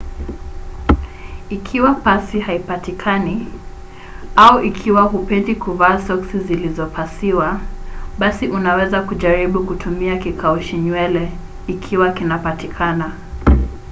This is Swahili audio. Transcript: ikiwa pasi haipatikani au ikiwa hupendii kuvaa soksi zilizopasiwa basi unaweza kujaribu kutumia kikaushi nywele ikiwa kinapatikana